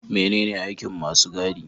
Menene aikin masu gadi?